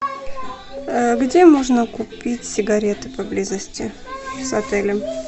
где можно купить сигареты поблизости с отелем